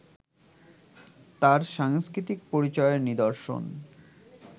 তার সাংস্কৃতিক পরিচয়ের নিদর্শন